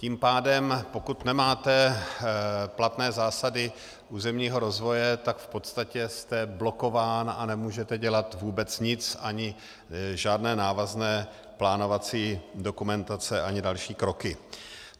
Tím pádem pokud nemáte platné zásady územního rozvoje, tak v podstatě jste blokován a nemůžete dělat vůbec nic, ani žádné návazné plánovací dokumentace, ani další kroky.